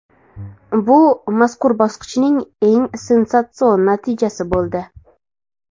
Bu mazkur bosqichning eng sensatsion natijasi bo‘ldi.